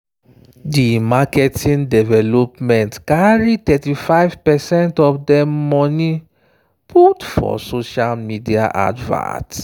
di marketing department carry 35 percent of dem money put for social media advert.